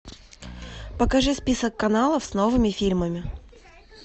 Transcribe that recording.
покажи список каналов с новыми фильмами